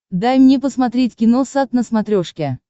дай мне посмотреть киносат на смотрешке